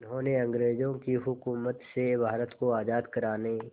जिन्होंने अंग्रेज़ों की हुकूमत से भारत को आज़ाद कराने